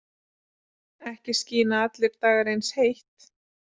Ekki skína allir dagar eins heitt.